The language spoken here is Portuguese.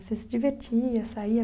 Você se divertia, saía?